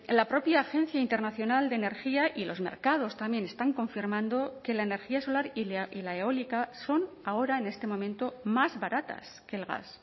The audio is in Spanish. la propia agencia internacional de energía y los mercados también están confirmando que la energía solar y la eólica son ahora en este momento más baratas que el gas